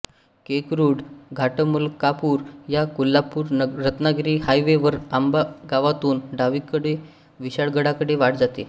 केकरुड घाटमलकापुर ला कोल्हापुर रत्नागिरी हायवे वर आंबा गावातुन डावीकडे विशाळगडाकडे वाट जाते